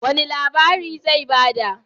Wani labari zai ba da?